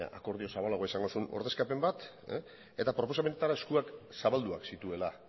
akordio zabalagoa izango zuen ordezkapen bat eta proposamenetara eskuak zabalduak zituela